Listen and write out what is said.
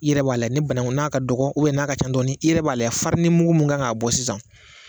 i yɛrɛ b'a lajɛ ni bananku n'a ka dɔgɔn n'a ka ca dɔɔnin i yɛrɛ b'a lajɛ farinimugu min kan k'a bɔ sisan